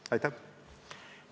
Aitäh!